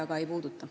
Kristen Michal.